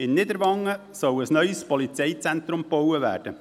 In Niederwangen soll ein neues Polizeizentrum gebaut werden.